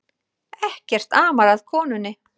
Ekkert amar að konunni